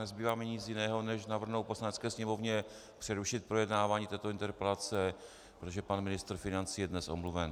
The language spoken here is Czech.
Nezbývá mi nic jiného než navrhnout Poslanecké sněmovně přerušit projednávání této interpelace, protože pan ministr financí je dnes omluven.